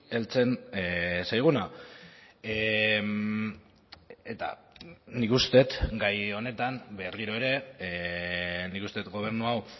heltzen zaiguna eta nik uste dut gai honetan berriro ere nik uste dut gobernu hau